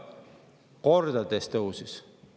Kordades tõusis!